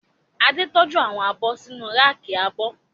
Adé tọ́jú àwọn abọ́ sínu ráàkì abọ́